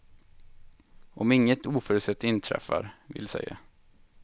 Om inget oförutsett inträffar, vill säga.